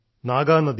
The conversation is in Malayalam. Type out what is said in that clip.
നാഗാനദി